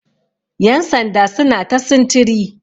yansanda suna ta sintiri